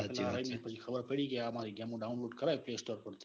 એટલે ખબર પડી કે આ મારી ગેમો download કરે play store પર થી પછી તો.